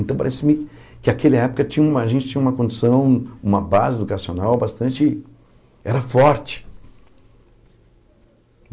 Então, parece-me que naquela época tinha a gente tinha uma condição, uma base educacional bastante... Era forte.